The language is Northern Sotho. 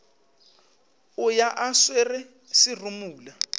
o ya a swere serumula